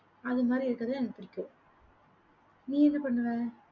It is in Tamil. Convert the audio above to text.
அது மாதிரி இருக்கிறது தான் எனக்கு பிடிக்கும். நீ என்ன பண்ணுவ?